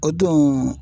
O don